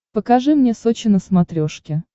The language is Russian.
покажи мне сочи на смотрешке